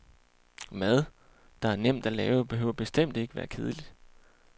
Mad, der er nemt at lave, behøver bestemt ikke at være kedelig.